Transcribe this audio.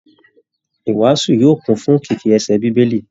Ìwàasù yóò kún fún kìkì ẹsẹ Bíbélì